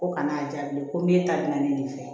Ko kan'a jaabi ko min ta bina ne fɛ